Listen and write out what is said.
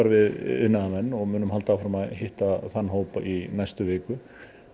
við iðnaðarmenn og munum halda áfram að hitta þann hóp í næstu viku